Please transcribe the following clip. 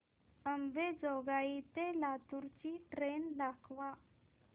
अंबेजोगाई ते लातूर ची ट्रेन दाखवा